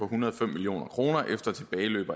hundrede og fem million kroner efter tilbageløb